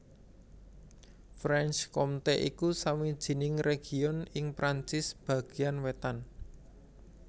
Franche Comté iku sawijining région ing Perancis bagéan wétan